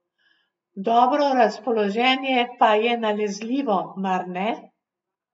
Dobro razpoloženje pa je nalezljivo, mar ne?